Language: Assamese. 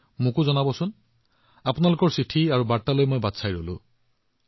আৰু হয় সদায়ৰ দৰে যেতিয়াই আপোনালোকে কিবা নতুন কৰে নতুন চিন্তা কৰে নিশ্চিতভাৱে মোক ইয়াত অন্তৰ্ভুক্ত কৰিব